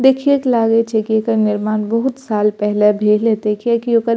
देखिए के लागए छे की एकर निर्माण बहुत साल पहले भेले देखिए के ओकर --